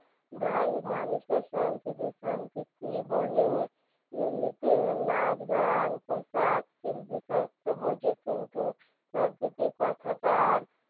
ঢাই মানুষের সংকৃতি সংকৃতি বলে এমনিতে নাচগান পোষাক শিল্পীসাহিত্য বোঝে কিন্তু সংকৃতি কথাটার